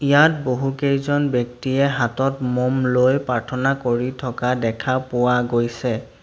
ইয়াত বহুকেইজন ব্যক্তিয়ে হাতত মম লৈ প্ৰাৰ্থনা কৰি থকা দেখা পোৱা গৈছে।